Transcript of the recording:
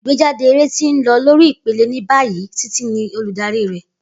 Igbejade eré ti n lọ lori ipele ni bayi, Titi ni oludari rẹ.